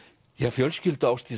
fjölskyldu Ásdísar